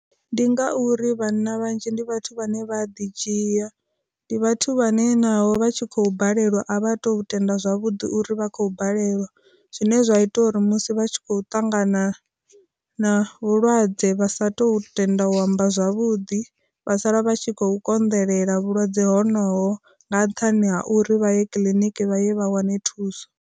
Ndi ngauri vhanna vhanzhi ndi vhathu vhane vha ḓi dzhia, ndi vhathu vhane naho vha tshi khou balelwa a vha tu tenda zwavhuḓi uri vha khou balelwa, zwine zwa ita uri musi vha tshi khou ṱangana na vhulwadze vha sa thu tenda u amba zwavhuḓi, vha sala vha tshi khou konḓelela vhulwadze honovho nga nṱhani ha uri vha ye kiḽiniki vha ye vha wane thuso.